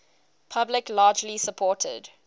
public largely supported